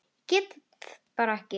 Og ekki bara það.